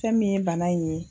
Fɛn min ye bana in ye.